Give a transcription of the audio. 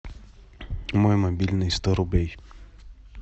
мой мобильный сто рублей